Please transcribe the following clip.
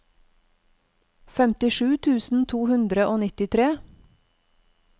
femtisju tusen to hundre og nittitre